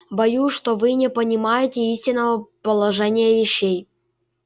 боюсь что вы не понимаете истинного положения вещей